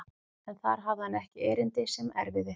En þar hafði hann ekki erindi sem erfiði.